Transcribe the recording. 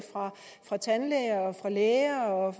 fra tandlægerne fra lægerne og